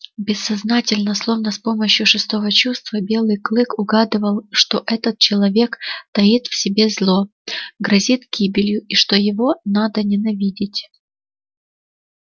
бессознательно словно с помощью шестого чувства белый клык угадывал что этот человек таит в себе зло грозит гибелью и что его надо ненавидеть